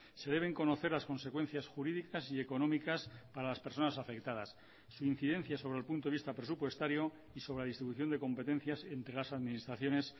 se deben conocer las consecuencias jurídicas y económicas para las personas afectadas su incidencia sobre el punto de vista presupuestario y sobre la distribución de competencias entre las administraciones